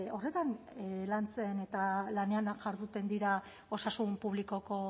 horretan lantzen eta lanean jarduten dira osasun publikoko